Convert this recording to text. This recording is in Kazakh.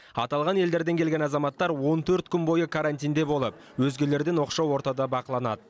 аталған елдерден келген азаматтар он төрт күн бойы карантинде болып өзгелерден оқшау ортада бақыланады